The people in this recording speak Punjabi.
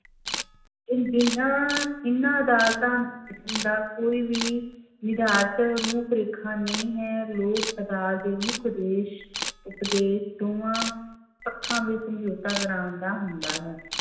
ਇਹਨਾਂ ਅਦਾਲਤਾਂ ਦਾ ਕੋਈ ਨਿਰਧਾਰਤ ਰੂਪ ਰੇਖਾ ਨਹੀਂ ਹੈ, ਲੋਕ ਅਦਾਲਤ ਦੇ ਮੁੱਖ ਉਦੇਸ਼ ਦੋਵਾਂ ਪੱਖਾਂ ਵਿੱਚ ਸਮਝੋਤਾ ਕਰਵਾਉਣ ਦਾ ਹੁੰਦਾ ਹੈ।